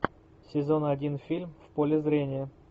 сезон один фильм в поле зрения